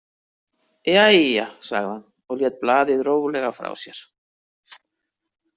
Jæja, sagði hann og lét blaðið rólega frá sér.